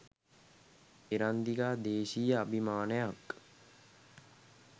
එරන්දිකා දේශීය අභීමානයක්